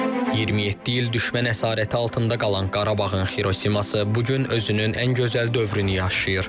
27 il düşmən əsarəti altında qalan Qarabağın Xirosiması bu gün özünün ən gözəl dövrünü yaşayır.